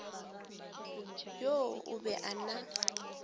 yoo o be a na